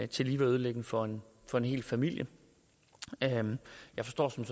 tillige være ødelæggende for for en hel familie jeg forstår som